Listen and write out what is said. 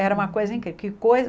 Era uma coisa incrível. Que